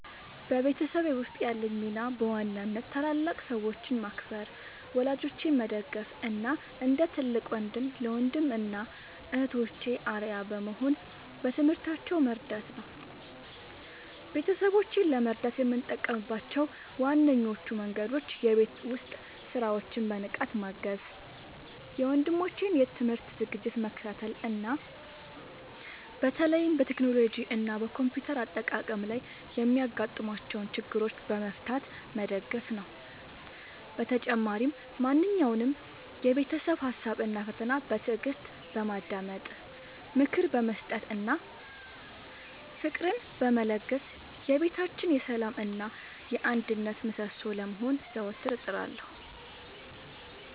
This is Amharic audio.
በቤተሰቤ ውስጥ ያለኝ ሚና በዋናነት ታላላቅ ሰዎችን ማክበር፣ ወላጆቼን መደገፍ እና እንደ ትልቅ ወንድም ለወንድም እና እህቶቼ አርአያ በመሆን በትምህርታቸው መርዳት ነው። ቤተሰቦቼን ለመርዳት የምጠቀምባቸው ዋነኞቹ መንገዶች የቤት ውስጥ ሥራዎችን በንቃት ማገዝ፣ የወንድሞቼን የትምህርት ዝግጅት መከታተል እና በተለይም በቴክኖሎጂ እና በኮምፒውተር አጠቃቀም ላይ የሚያጋጥሟቸውን ችግሮች በመፍታት መደገፍ ነው። በተጨማሪም ማንኛውንም የቤተሰብ ሀሳብ እና ፈተና በትዕግስት በማዳመጥ፣ ምክር በመስጠት እና ፍቅርን በመለገስ የቤታችን የሰላም እና የአንድነት ምሰሶ ለመሆን ዘወትር እጥራለሁ።